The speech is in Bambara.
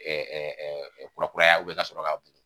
ɛɛ Kurakuraya ka sɔrɔ k'a